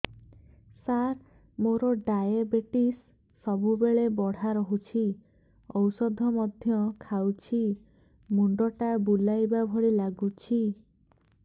ସାର ମୋର ଡାଏବେଟିସ ସବୁବେଳ ବଢ଼ା ରହୁଛି ଔଷଧ ମଧ୍ୟ ଖାଉଛି ମୁଣ୍ଡ ଟା ବୁଲାଇବା ଭଳି ଲାଗୁଛି